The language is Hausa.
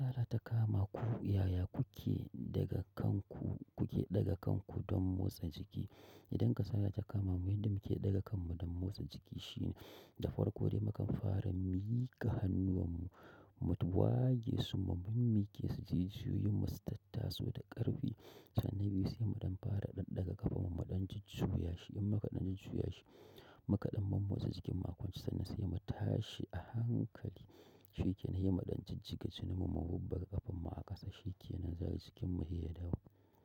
Ta kama ku yaya kuke daga kanku, kuke daga kanku don motsa jiki. Idan kasala ta kama mu, inda muke daga kanmu don motsa jiki shine da farko dai mukan fara miƙa hannuwanmu, mu tuwage su kuma mun miƙe su jijiyoyinmu su tattaso da ƙarfi. Sannan biyu sai muɗan fara ɗaga ƙafanmu, muɗan jujjuyashi. In mukaɗan jujjuyashi su yashi, muƙaɗan mu motsa jikinmu a kwance sannan sai mu tashi a hankali. Shikkenan sai mu dan jijjiga jininmu mu dan bubbuga kafarmu a ƙasa. Shike naza sai yasa jikinmu sai ya dawo?